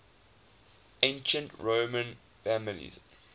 ancient roman families